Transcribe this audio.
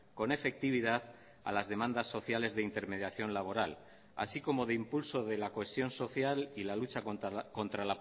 con efectividad a las demandas sociales de intermediación laboral así como de impulso de la cohesión social y la lucha contra